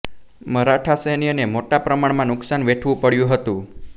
મરાઠા સૈન્યને મોટા પ્રમાણમાં નુક્શાન વેઠવું પડ્યું હતું